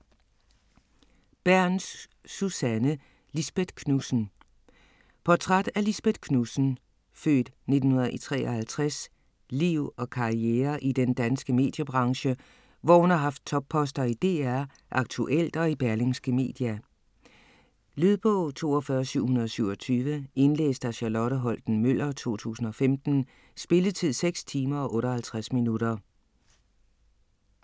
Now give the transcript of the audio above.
Bernth, Susanne: Lisbeth Knudsen Portræt af Lisbeth Knudsens (f. 1953) liv og karriere i den danske mediebranche, hvor hun har haft topposter i DR, Aktuelt og i Berlingske Media. Lydbog 42727 Indlæst af Charlotte Holten-Møller, 2015. Spilletid: 6 timer, 58 minutter.